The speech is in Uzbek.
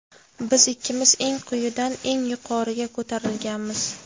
Biz ikkimiz eng quyidan eng yuqoriga ko‘tarilganmiz.